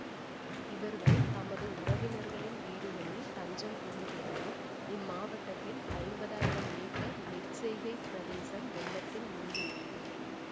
இவர்கள் தமது உறவினர்களின் வீடுகளில் தஞ்சம் புகுந்துள்ளனர் இம்மாவட்டத்தில் ஐம்பதாயிரம் ஏக்கர் நெற்செய்கை பிரதேசம் வெள்ளத்தில் மூழ்கியுள்ளது